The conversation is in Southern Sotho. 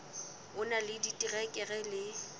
o na le diterekere le